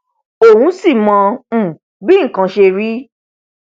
òun sì mọ um bí nkan ṣe rí